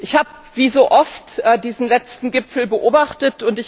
Ich habe, wie so oft, diesen letzten Gipfel beobachtet.